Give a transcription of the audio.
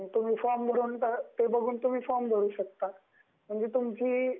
ते बघून तुम्ही फॉर्म भरु शकता, म्हणजे तुमची एक